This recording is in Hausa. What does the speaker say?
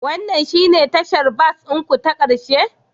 Wannan shine tashar bas ɗin ku ta ƙarshe?